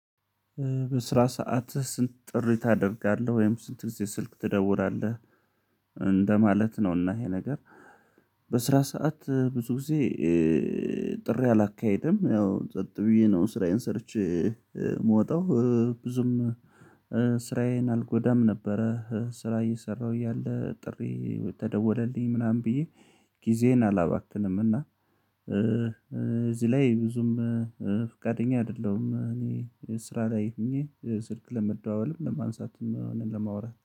በስራ ሰዓትህ ስንት ጥሪ ታደርጋለህ ወይም ስንት ጊዜ ስልክ ትደውራለህ እንደማለት ነውና ይሄ ነገር። በስራ ሰዓት ብዙ ጊዜ ጥሪ አላካሄድም ያው ጸጥ ብዬ ነው ስራዬን ሰርቼ የምወጣው። ብዙም ስራዬን አልጎዳም ነበረ ስራ እየሰራሁ እያለ ጥሪ ተደወለልኝ ምናምን ብዬ ጊዜዬን አላባክንም እና እዚህ ላይ ብዙም ፍቃደኛ አይደለሁም እኔ ስራ ላይ ሆኜ ስልክ ለመደዋወልም ለማንሳትም ሆነ ለማውራት።